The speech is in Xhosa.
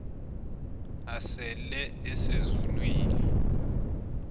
asele ese zulwini